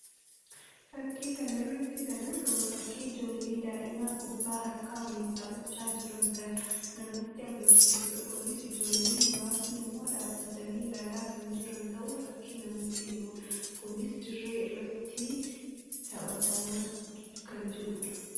Fakkii kana irratti kana argamu fakkii ijoollee daa'imaa kubbaa harkaa waliin taphachaa jiran kan namatti agarsiisuudha. kunis ijoolleen muraasni immoo dhaabbatanii ilaalaa kan jiran ta'uu fakkii namatti himuu dha. Kunis dirree irratti talhatamaa kan jiruudha.